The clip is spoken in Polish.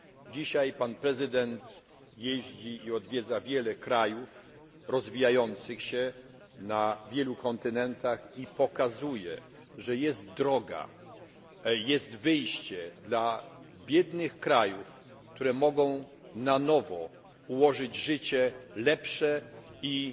Dzisiaj pan prezydent jeździ i odwiedza wiele krajów rozwijających się na wielu kontynentach i pokazuje, że jest droga, jest wyjście dla biednych krajów, które mogą na nowo zapewnić obywatelom lepsze